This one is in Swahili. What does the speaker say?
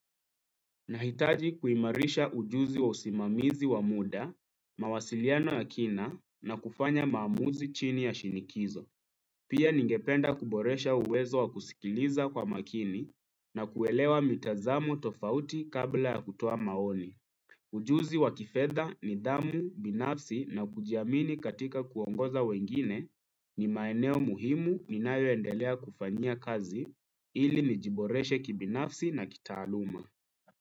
Nahitaji kuimarisha ujuzi wa usimamizi wa muda, mawasiliano ya kina na kufanya maamuzi chini ya shinikizo. Pia ningependa kuboresha uwezo wa kusikiliza kwa makini na kuelewa mitazamo tofauti kabla ya kutoa maoni. Ujuzi wa kifedha nidhamu, binafsi na kujiamini katika kuongoza wengine ni maeneo muhimu ninayo endelea kufanyia kazi ili nijiboreshe kibinafsi na kitaaluma.